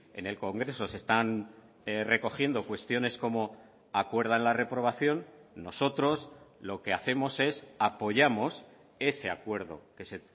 en el congreso se están recogiendo cuestiones como acuerdan la reprobación nosotros lo que hacemos es apoyamos ese acuerdo que se